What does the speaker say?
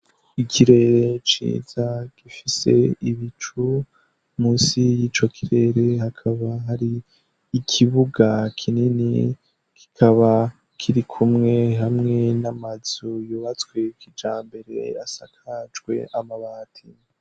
Ikirere ciza gifise ibicu musi y'ico kirere hakaba hari ikibuga kinini kikaba kiri kumwe hamwe n'amazu yubatswekija mbere asakajwe amabati.